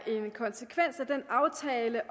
det